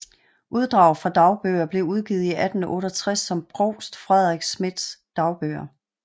Uddrag fra dagbøger blev udgivet i 1868 som Provst Fredrik Schmidts Dagbøger